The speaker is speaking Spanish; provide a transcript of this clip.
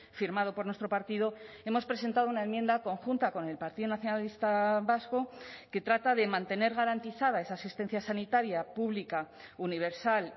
firmado por nuestro partido hemos presentado una enmienda conjunta con el partido nacionalista vasco que trata de mantener garantizada esa asistencia sanitaria pública universal